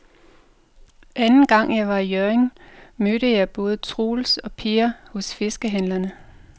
Anden gang jeg var i Hjørring, mødte jeg både Troels og Per hos fiskehandlerne.